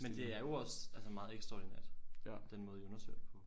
Men det er jo også altså meget ekstraordinært den måde i undersøger det på